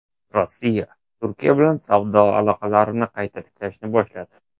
Rossiya Turkiya bilan savdo aloqalarini qayta tiklashni boshladi.